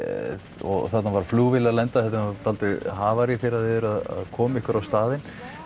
og þarna var flugvéla að lenda þetta er nú dálítið havarí þegar þið eruð að koma ykkur á staðinn